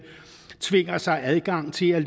tvinger sig adgang til at